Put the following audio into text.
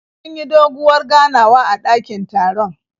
Sun yi doguwar ganawa a dakin taron.